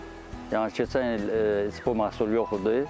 Yəni keçən il bu məhsul yox idi.